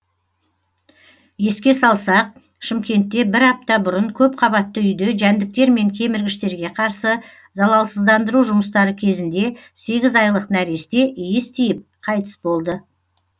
еске салсақ шымкентте бір апта бұрын көпқабатты үйде жәндіктер мен кеміргіштерге қарсы залалсыздандыру жұмыстары кезінде сегіз айлық нәресте иіс тиіп қайтыс болды